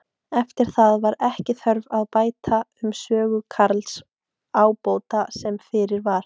Eftir það var ekki þörf að bæta um sögu Karls ábóta sem fyrir var.